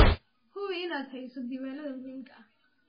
Hubi inaad hayso diiwaanada muhiimka ah.